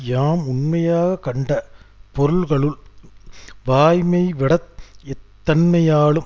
யாம் உண்மையாக கண்ட பொருள்களுள் வாய்மைவிடத் எத்தன்மையாலும்